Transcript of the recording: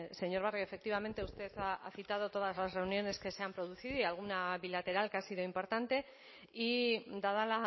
señor barrio efectivamente usted ha citado todas las reuniones que se han producido y alguna bilateral que ha sido importante y dada